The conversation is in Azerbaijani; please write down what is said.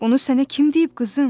Onu sənə kim deyib, qızım?